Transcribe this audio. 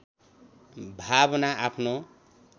भावना आफ्नो